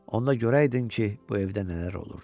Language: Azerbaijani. Onda görəydin ki, bu evdə nələr olurdu.